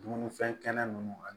Dumunifɛn kɛnɛ ninnu ani